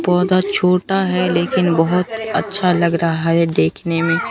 पौधा छोटा है लेकिन बहोत अच्छा लग रहा है देखने में--